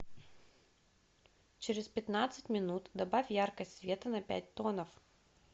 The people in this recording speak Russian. через пятнадцать минут добавь яркость света на пять тонов